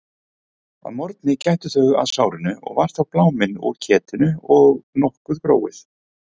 Að morgni gættu þau að sárinu og var þá bláminn úr ketinu og nokkuð gróið.